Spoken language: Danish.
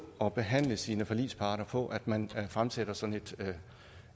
at behandle sine forligspartnere på at man fremsætter sådan et